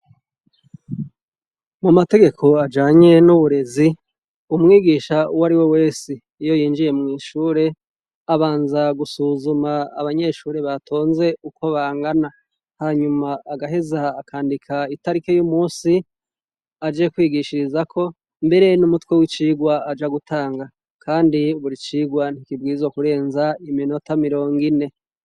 Mu mategeko ajanye n'uburezi umwigisha uwo ari we wese iyo yinjiye mw'ishure abanza gusuzuma abanyeshure batonze uko bangana hanyuma agaheza akandika itarike y'umusi aje kwigishirizako mbere n'umutwe w'icigwae ja gutanga, kandi uburi icirwa ntikibwizo kurenza iminota mirongo ine.